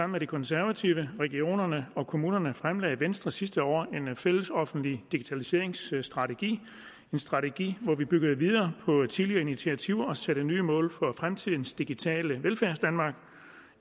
med de konservative regionerne og kommunerne fremlagde venstre sidste år en fælles offentlig digitaliseringsstrategi en strategi hvor vi byggede videre på tidligere initiativer om at sætte nye mål for fremtidens digitale velfærdsdanmark